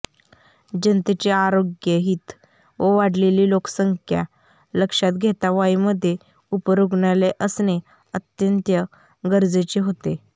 जनतेचे आरोग्य हित व वाढलेली लोकसंख्या लक्षात घेता वाईमध्ये उपरुग्णालय असणे अत्यंत गरजेचे होते